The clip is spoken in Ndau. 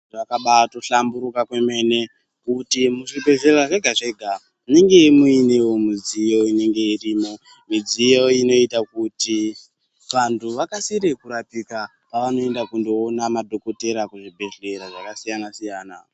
Zvakabato hlamburuka kwemene kuti muzvibhehlera zvega zvega munenge munewo mudziyo inenge irimo dziyo inoita kuti vantu vakasire kurapika pavanoenda kundoona madhokodheya kuzvibhehlera zvakasiyana siyana.